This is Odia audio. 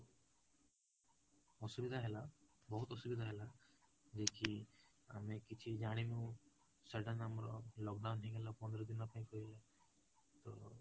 ଅସୁବିଧା ହେଲା ବହୁତ ଅସୁବିଧା ହେଲା, ଯେ କି ଆମେ କିଛି ଜାଣିନୁ sudden ଆମର lockdown ହେଇଗଲା ପନ୍ଦର ଦିନ ପାଇଁ କହିଲା, ତ